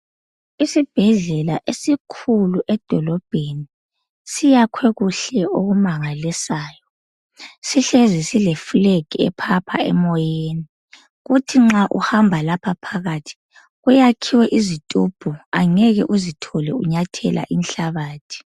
Isibhedlela esikhulu edolobheni, siyakhwe kuhle okumangalisayo. Sihlezi silefilagi ephapha emoyeni, kuthi ma uhamba lapha phakathi, kuyakhiwe izitubhu awungeke uzithole unyathela inhlabathi.